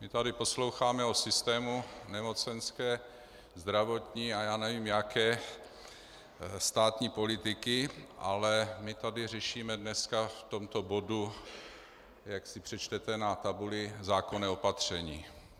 My tady posloucháme o systému nemocenské, zdravotní a já nevím jaké státní politiky, ale my tady řešíme dnes v tomto bodu, jak si přečtete na tabuli, zákonné opatření.